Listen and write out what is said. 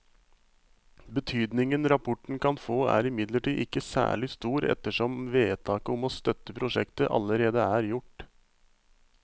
Betydningen rapporten kan få er imidlertid ikke særlig stor ettersom vedtaket om å støtte prosjektet allerede er gjort.